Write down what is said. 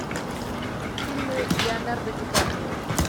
фильмы леонардо ди каприо